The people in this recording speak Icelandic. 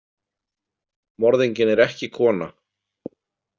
Morðinginn er ekki kona.